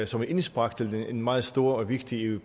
som et indspark til den meget store og vigtige